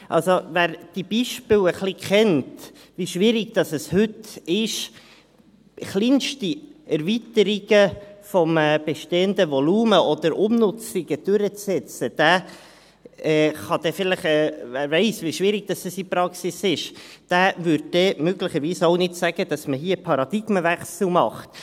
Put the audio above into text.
Also: Wer diese Beispiele ein wenig kennt und weiss wie schwierig es heute ist, kleinste Erweiterungen oder Umnutzungen eines bestehenden Volumens durchzusetzen, und weiss, wie schwierig es in der Praxis ist, würde dann möglicherweise auch nicht sagen, dass man hier einen Paradigmenwechsel macht.